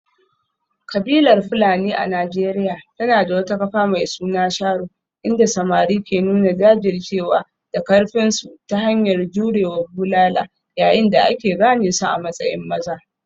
Kabilar Fulani a Najeriya tana da wata kafa mai suna sharo, inda samari ke nuna jajircewa da karfinsu ta hanyar jure wa bulala yayin da aka gane su a matsayin maza.